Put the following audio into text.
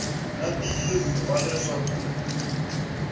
na ntiyiso wa leswaku u